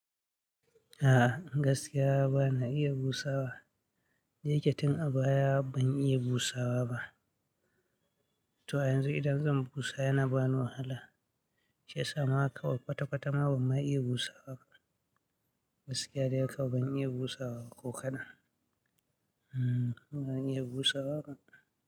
A'a, gaskiya ba na iya busawa. Dayake tin a baya ban iya busawa ba. To a yanzu idan zan busa yana bani wahala. Shiyasa makawai kwata-kwata ma ban iya busawa ba. Gaskiya dai kawai ban iya busaba ko kaɗan. Hmm, ban iya busawa ba.